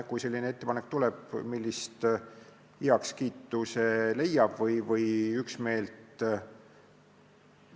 Kui selline ettepanek tuleb, siis vaatame, millist heakskiitu või üksmeelt see leiab.